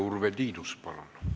Urve Tiidus, palun!